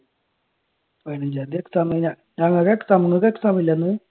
പതിനഞ്ചാം തീയതി exam മെയിനാ ഞങ്ങൾക്ക് exam നിങ്ങൾക്ക് exam ഇല്ലേ അന്ന്?